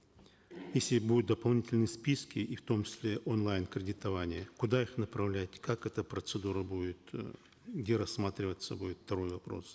если будет дополнительные списки и в том числе онлайн кредитование куда их направлять как эта процедура будет э где рассматриваться будет второй вопрос